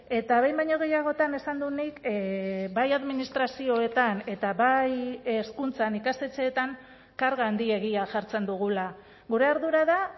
eta behin baino gehiagotan esan dut nik bai administrazioetan eta bai hezkuntzan ikastetxeetan karga handiegia jartzen dugula gure ardura da